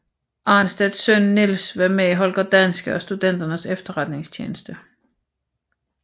Arnstedt søn Niels var med i Holger Danske og Studenternes Efterretningstjeneste